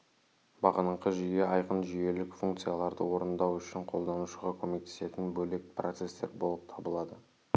бағыныңқы жүйе айқын жүйелік функцияларды орындау үшін қолданушыға көмектесетін бөлек процестер болып табылады